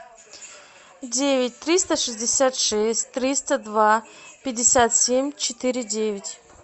девять триста шестьдесят шесть триста два пятьдесят семь четыре девять